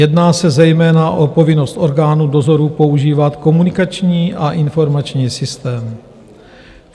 Jedná se zejména o povinnost orgánů dozoru používat komunikační a informační systém.